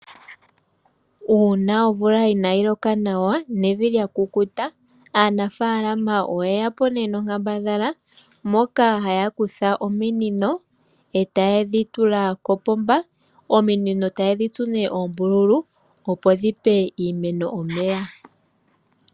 Uuna omvula inayiloka nawa nevi lakukuta, aanafaalama oyeya po ne nonkambadhala moka hayakutha ominino e tayedhitula kopomba ominino tayedhitsu ne oombulu opo dhipe iimeno omeya.